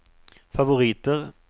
favoriter